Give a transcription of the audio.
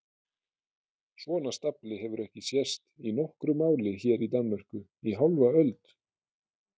Svona stafli hefur ekki sést í nokkru máli hér í Danmörku í hálfa öld!